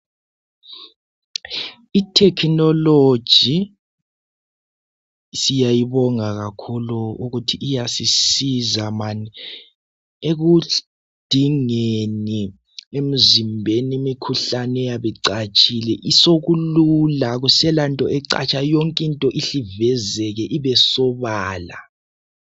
Ithekinoloji siyayibonga kakhulu ukuthi iyasisiza mani ekudingeni emzimbeni imikhuhlane eyabe icatshile sekulula akuselanto ecatshayo yonkinto ihle ivezeke ibesobala.